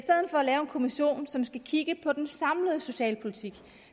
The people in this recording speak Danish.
kommission som skal kigge på den samlede socialpolitik